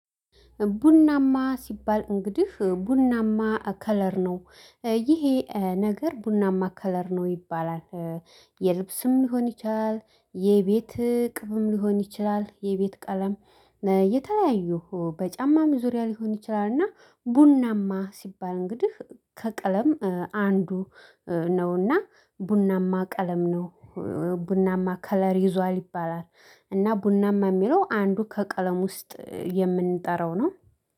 ቡናማ ሲባል እንግዲህ ቡናማ ከለር ነው ይሄ ነገር ቡናማ ከለር ነው ይባላል። የልብስም ሊሆን ይችላል የቤት ቅብም ሊሆን ይችላል የቤት ቀለም። የተለያዩ በጫማም ዙሪያ ሊሆን ይችላል። እና ቡናማ ሲባል እንግዲህ ከቀለም አንዱ ነውና ቡናማ ቀለም ነው ቡናማ ከለር ይዟል ይባላል። እና ቡናማ እሚለው አንዱ ከቀለም ውስጥ የምንጠራው ነው